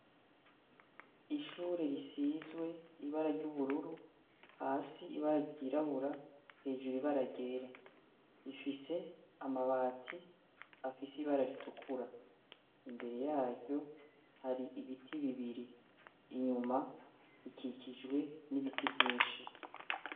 Ishure risizwe ibara ry'ubururu hasi ibara ryirabura hejuru ibara ryera ifise amabati afise ibara ritukura imbere yayo hari ibiti bibiri inyuma rikikijwe n'ibiti vyinshi.